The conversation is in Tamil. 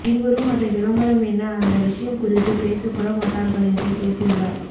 இருவரும் அதை விளம்பரம் என்ன அந்த விஷயம் குறித்து பேச கூட மாட்டார்கள் என்று பேசியுள்ளார்